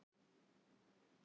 Verði notaðar sem áróður